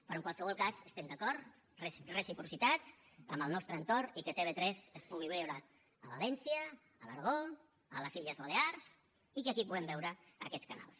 però en qualsevol cas estem d’acord reciprocitat amb el nostre entorn i que tv3 es pugui veure a valència a l’aragó a les illes balears i que aquí puguem veure aquests canals